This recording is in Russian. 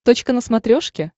точка на смотрешке